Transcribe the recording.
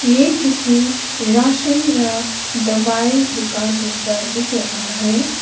ये किसी राशन या दवाई दुकान जैसा दिख रहा है।